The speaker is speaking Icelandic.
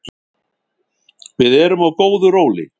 Við erum á góðu róli